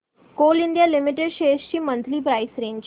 Coal India Limited shares ची monthly price range